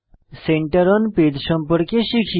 centre on page সম্পর্কে শিখি